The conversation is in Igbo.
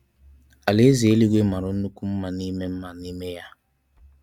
alaeze eligwe mara nnukwu nma n'ime nma n'ime ya.